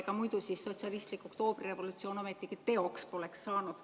Ega muidu siis sotsialistlik oktoobrirevolutsioon ometigi teoks poleks saanud.